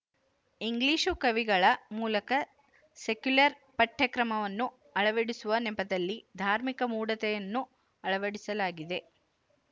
English ಕವಿಗಳ ಮೂಲಕ secular ಪಠ್ಯಕ್ರಮವನ್ನು ಅಳವಡಿಸುವ ನೆಪದಲ್ಲಿ ಧಾರ್ಮಿಕ ಮೂಢತೆಯನ್ನೂ ಅಳವಡಿಸಲಾಗಿದೆ